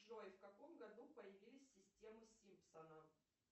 джой в каком году появились системы симпсонов